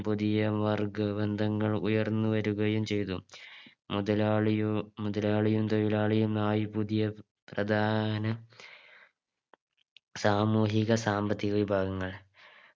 പുതിയ വർഗ ബന്ധങ്ങൾ ഉയർന്നു വരികയും ചെയ്തു മുതലാളിയൊ മുതലാളിയും തൊഴിലാളിയും ന്നായി പുതിയ പ്രധാന സാമൂഹിക സാമ്പത്തിക വിഭാഗങ്ങൾ